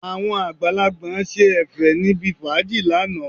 Àwọn àgbàlagbà ṣe Ẹ̀fẹ̀ níbi fàájì lánàá